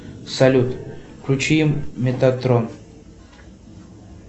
салют включи метатрон